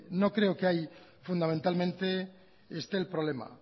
no creo que hay fundamentalmente esté el problema